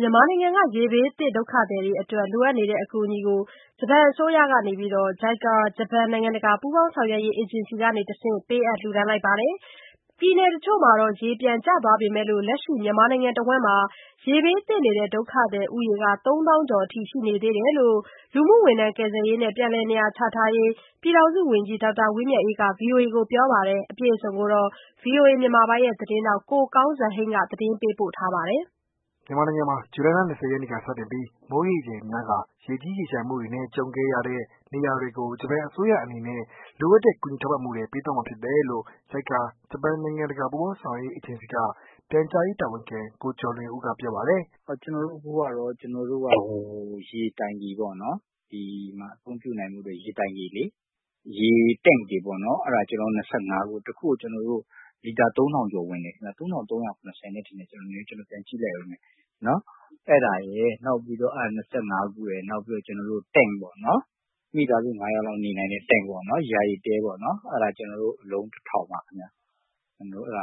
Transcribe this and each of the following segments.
မြန်မာနိုင်ငံက ရေဘေးသင့် ဒုက္ခသည်တွေ အတွက် လိုအပ်နေတဲ့ အကူအညီတွေကို ဂျပန်အစိုးရက JICA (ဂျပန်နိုင်ငံတကာ ပူးပေါင်းဆောင်ရွက်ရေး အေဂျင်စီ) ကတဆင့် ပေးအပ်လိုက်ပါတယ်။ ပြည်နယ်တချို့မှာ ရေကျသွားပေမဲ့ လက်ရှိမြန်မာနိုင်ငံမှာတော့ ရေဘေးသင့် ဒုက္ခသည်ဦးရေ ၃သောင်းကျော် ရှိနေသေးတယ်လို့လည်း လူမှုဝန်ထမ်း၊ ကယ်ဆယ်ရေးနဲ့ ပြန်လည်နေရာချထားရေး ပြည်ထောင်စု ဝန်ကြီး ဒေါက်တာ ဝင်းမြတ်အေး ကပြောပါတယ်။အပြည့်အစုံကိုတော့ ကိုကောင်းစံဟိန်းက ပြောပြပေးမှာပါ။ မြန်မာနိုင်ငံမှာ ဇူလိုင်လ ၂၀ရက်နေ့က စတင်ပီး မိုးရေချိန်များကာ ရေကြီး၊ရေလျံမှုတွေနဲ့ ကြုံခဲ့ရတဲ့ နေရာတွေကို ဂျပန်အစိုးရ အနေနဲ့ လိုအပ်တဲ့ ကူညီထောက်ပံ့မှုတွေ ပေးသွားမှာ ဖြစ်တယ်လို့ JICA (ဂျပန်နိုင်ငံတကာ ပူးပေါင်းဆောင်ရွက်ရေး အေဂျင်စီ) က ပြန်ကြားရေး တာဝန်ခံ ကိုကျော်လွင်ဦး ကပြောပါတယ်။ "ကျနော်တို့ကတော့ ရေတိုင်ကီပေါ့နော် ဒီမှာအသုံးပြုနိုင်ဖို့အတွက် ရေတိုင်ကီလေ ၊Tent တွေပေါ့နော် ၂၅ ခု ၊ ၁ ခုကိုဆိုရင် လီတာ ၃၀၀၀ ကျော်ဝင်တယ်ခင်ဗျ ။ အဲဒါရယ်နောက်ပြီးတော့ နောက်ပြီးတော့ Tent ပေါ့နော် မိသားစု ၅ ယောက်လောက်နေနိုင်တဲ့ ယာယီတဲပေါ့နော် အဲဒါ ကျနေ်ာတို့ အလုံး ၁၀၀၀ ပါခင်ဗျ။ အဲဒါ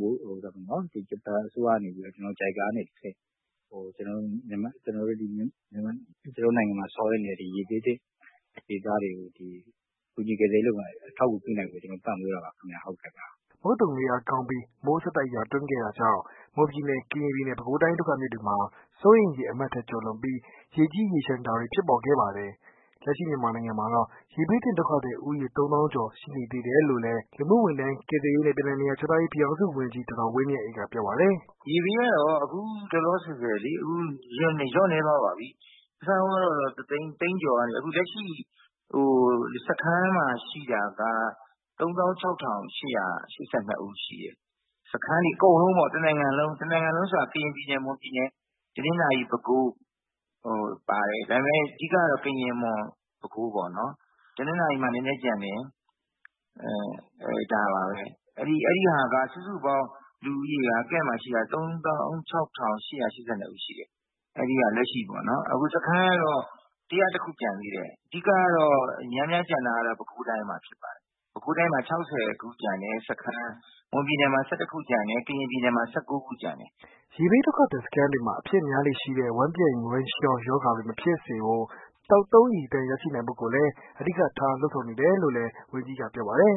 ကို ဂျပန်အစိုးရကနေ JICA ကနေတဆင့် ကျနော်တို့နိုင်ငံမှာ ဆောင်ရွက်နေတဲ့ ရေဘေးသင့်ဒေသတွေကို ကူညီကယ်ဆယ်ရေး အထောက်အကူပြုနိုင်ဖို့အတွက် ထောက်ပံ့မှာပါခင်ဗျ။" မုတ်သုန်လေအားကောင်းပီး မိုးဆက်တိုက်ရွာသွန်းခဲ့တာကြောင့် မွန်ပြည်နယ် ကရင်ပြည်နယ် ပဲခူးတိုင်းတို့က မြစ်တွေမှာ စိုးရိမ် ရေအမှတ်ထက်ကျော်လွန်ပြီး ရေကြီးရေလျံတာတွေ ဖြစ်ပေါ်ခဲ့ပါတယ်။ ပြောပါတယ်။လက်ရှိမြန်မာနိုင်ငံမှာတော့ ရေဘေးသင့်ဒုက္ခသည်ဦးရေ ၃သောင်းကျော် ရှိနေသေးတယ်လို့လည်း လူမှုဝန်ထမ်း၊ ကယ်ဆယ်ရေးနဲ့ ပြန်လည်နေရာချထားရေး ပြည်ထောင်စု ဝန်ကြီး ဒေါက်တာ ဝင်းမြတ်အေး ကပြောပါတယ်။ "ရေဘေးကတော့ အခုလောလောဆည်လျော့နည်းသွားပါပြီ။ အစကတော့ ၁ သိန်းကျော်ကနေ အခုလက်ရှိစခန်းမှာ ရှိတာက ၃၆၈၈၂ ဦးရှိတယ်။ စခန်းတွေအကုန်လုံးပေါ့ တနိုင်ငံလုံး။ ကရင်ပြည်နယ်၊ မွန်ပြည်နယ်၊ တနင်္သာရီ ၊ ပဲခူး ပေါ့နော် ဒါပေမယ့် အဓိကတော့ ကရင်ပြည်နယ်၊ မွန်ပြည်နယ်၊ ပဲခူး၊ပေါ့နော် တနင်္သာရီမှာတော့ နည်းနည်းပဲကျန်တယ် အဲဒါတွေစုစုပေါင်း အခုလက်ရှိစခန်းမှာ ရှိတာက ၃၆၈၈၂ ဦးရှိတယ်။ စခန်းကတော့ ၁၀၁ ခုကျန်သေးတယ်။ အဓိကတော့ များများကျန်တာကတော့ ပဲခူးတိုင်းမှာဖြစ်ပါတယ်။ ပဲခူးမှာ စခန်း ၆၀ ကျန်တယ်။ မွန်ပြည်နယ်မှာ ၁၁ ခုကျန်တယ်၊ ကရင်မှာ ၁၉ ခုကျန်တယ်။ ဆိုတော့ အခုလက်ရှိအခြေအနေကတော့ အဲဒါပါပဲ။" ရေဘေးဒုက္ခသည် စခန်းတွေမှာ အဖြစ်များလေ့ရှိတဲ့ ဝမ်းပျက် ၊ဝမ်းလျော ရောတွေ မဖြစ်စေဖို့ သောက်သုံးရေသန့် ရရှိနိုင်ဖို့ကိုလည်း အဓိကထား လုပ်ဆောင်နေတယ်လို့လည်း ဝန်ကြီးကပြောပါတယ်